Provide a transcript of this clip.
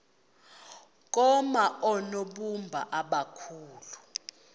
koma oonobumba abakhulu